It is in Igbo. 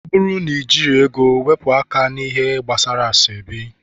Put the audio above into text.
ọ bụrụ n ejigi ego, weepu aka na -ihe gbasara asoebi